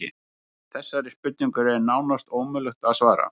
Þessari spurningu er nánast ómögulegt að svara.